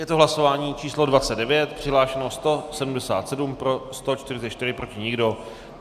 Je to hlasování číslo 29, přihlášeno 177, pro 144, proti nikdo.